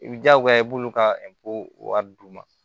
I bi jagoya i b'olu ka wari d'u ma